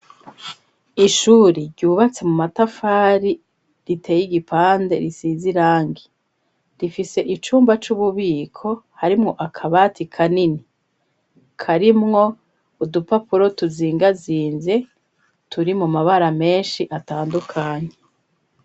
Ishuri ryubatse mu matafari riteye igipande risize irangi rifise icumba c'ububiko harimwo akabati kanini karimwo udupapuro tuzingazinze turi mu mabara menshi atandukanye.